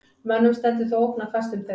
Mönnum stendur þó ógn af fæstum þeirra.